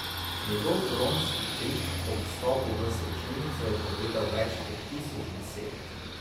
Njegov huronski krik ob vstopu v slačilnico je povedal več kot tisoč besed.